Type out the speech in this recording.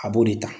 A b'o de ta